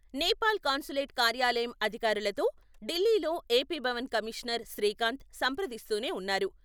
Nepal consulate కార్యాలయం అధికారులతో ఢిల్లీలో ఏపీ భవన్ కమిషనర్ శ్రీకాంత్ సంప్రదిస్తూనే ఉన్నారు.